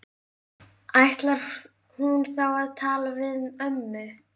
Ætti hún þá að tala við ömmu?